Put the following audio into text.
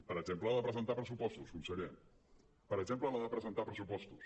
per exemple la de presentar pressupostos conseller per exemple la de presentar pressupostos